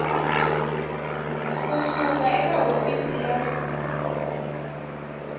ku suka eka hofisi ya